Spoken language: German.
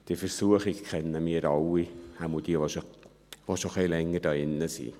Diese Versuchung kennen wir alle, jedenfalls alle, die schon etwas länger hier drin sind.